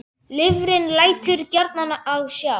Lifrin lætur gjarnan á sjá.